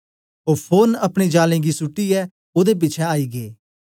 ओ फोरन अपने जालें गी सुट्टीयै ओदे पिछें आई गै